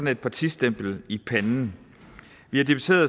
et partistempel i panden